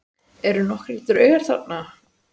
Eru nokkrir draugar þarna?